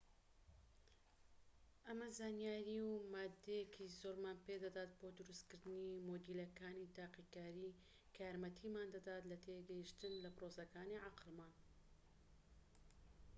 ئەمە زانیاری و ماددەیەکی زۆرمان پێدەدات بۆ دروست کردنی مۆدێڵەکانی تاقیکاری کە یارمەتیمان دەدات لە تێگەیشتن لە پرۆسەکانی عەقڵمان